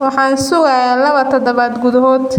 Waxaan sugayaa laba toddobaad gudahood.